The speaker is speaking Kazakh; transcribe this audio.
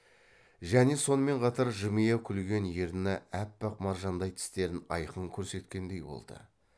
және сонымен қатар жымия күлген ерні аппақ маржандай тістерін айқын көрсеткендей болды